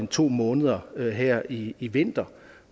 to måneder her her i i vinter